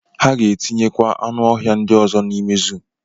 Ha ga-eti kwu anuohia ndị ọzọ n'ime zuu.